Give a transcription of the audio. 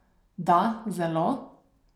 Da, zelo!